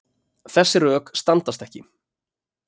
Þessi rök standast ekki.